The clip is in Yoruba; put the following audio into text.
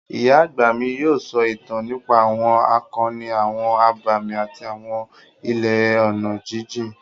Ìyá àgbà mi yóò sọ ìtàn nípa àwọn akọni, àwọn abàmì àti àwọn ilẹ̀ ọ̀nà jíjìn.